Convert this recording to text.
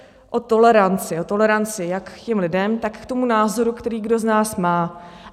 O toleranci jak k těm lidem, tak k tomu názoru, který kdo z nás má.